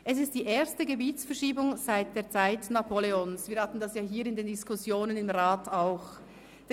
Es ist die erste Gebietsverschiebung seit der Zeit Napoleons – das hatten wir hier in den Diskussionen im Rat auch schon.